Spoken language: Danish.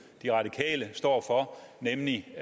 nitten ni